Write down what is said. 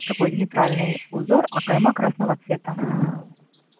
такой нейтральный узор а кайма красного цвета